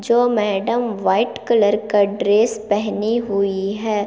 जो madam white colour का dress पहनी हुई है।